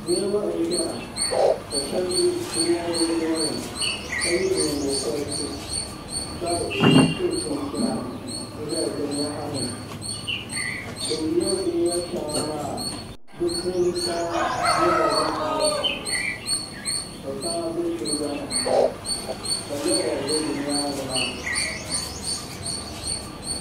Niriba n-chana ka shɛba ʒi binyɛhiri bɛ zuɣuri ni ka ye nyiŋgokɔriti ka so chinchina n-zali bɛ nyɔɣu ni bɛ ni ye binyɛr’ shɛŋa maa di puuni shɛŋa nyɛla zaɣ’ nuɣiso ka shɛŋa be silibanima ni ka lɔba za bɛ nyaaŋa maa